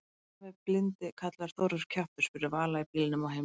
Af hverju er afi blindi kallaður Þórður kjaftur? spurði Vala í bílnum á heimleiðinni.